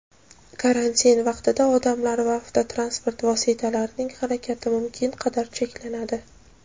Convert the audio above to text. Karantin vaqtida odamlar va avtotransport vositalarining harakati mumkin qadar cheklanadi.